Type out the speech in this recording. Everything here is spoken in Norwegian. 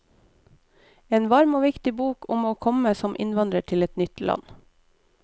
En varm og viktig bok om å komme som innvandrer til et nytt land.